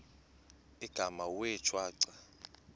igama wee shwaca